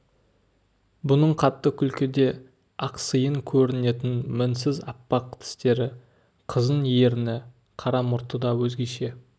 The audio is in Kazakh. бұның қатты күлкіде ақсиын көрінетін мінсіз аппақ тістері қызын ерні қара мұрты да өзгеше